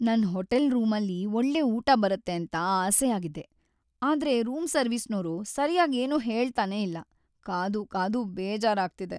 ನನ್ ಹೋಟೆಲ್‌ ರೂಮಲ್ಲಿ ಒಳ್ಳೆ ಊಟ ಬರುತ್ತೆ ಅಂತ ಆಸೆಯಾಗಿದ್ದೆ. ಆದ್ರೆ ರೂಮ್‌ ಸರ್ವಿಸ್ನೋರು ಸರ್ಯಾಗ್ ಏನೂ ಹೇಳ್ತನೇ ಇಲ್ಲ, ಕಾದೂ ಕಾದೂ ಬೇಜಾರಾಗ್ತಿದೆ.